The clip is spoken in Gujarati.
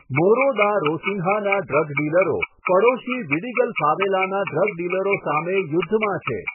મોરો દા રોસિન્હાનાં ડ્રગ ડીલરો પડોશી વિડીગલ ફાવેલાનાં ડ્રગ ડીલરો સામે યુદ્ધમાં છે.